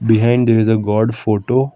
behind there is a god photo.